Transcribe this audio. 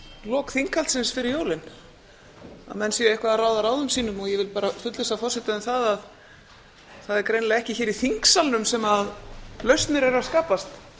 lok þinghaldsins fyrir jólin að menn séu eitthvað að ráða ráðum sínum og ég vil bara fullvissa forseta um að það er greinilega ekki hér í þingsalnum sem lausnir eru að skapast